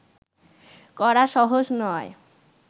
করা সহজ নয়